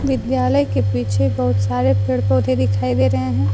विद्यालय के पीछे बहुत सारे पेड़ पौधे दिखाई दे रहे हैं।